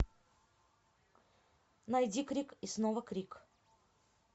найди крик и снова крик